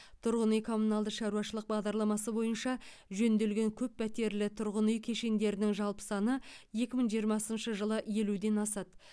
тұрғын үй коммуналды шаруашылық бағдарламасы бойынша жөнделген көп пәтерлі тұрғын үй кешендерінің жалпы саны екі мың жиырмасыншы жылы елуден асады